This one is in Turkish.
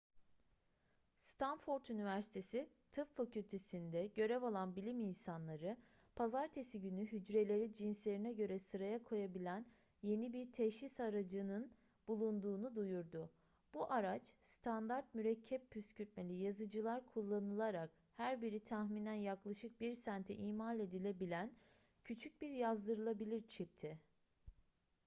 stanford üniversitesi tıp fakültesi'nde görev alan bilim insanları pazartesi günü hücreleri cinslerine göre sıraya koyabilen yeni bir teşhis aracının bulunduğunu duyurdu bu araç standart mürekkep püskürtmeli yazıcılar kullanılarak her biri tahminen yaklaşık bir sente imal edilebilen küçük bir yazdırılabilir çipti